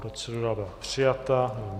Procedura byla přijata.